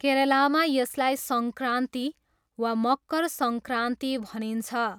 केरलामा यसलाई सङ्क्रान्ति वा मकर सङ्क्रान्ति भनिन्छ।